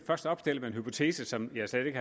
først opstiller en hypotese som jeg slet ikke